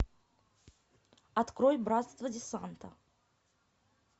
открой братство десанта